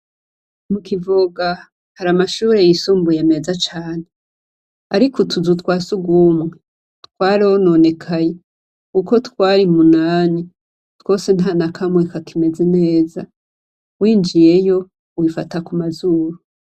Mukivoga hari amashure yisumbuye meza cane. Ariko utuzu twa sugumwe twarononekaye. Uko twari munani twose ntanakamwe ka imeze neza. Winjiyeyo wifata kumazuru.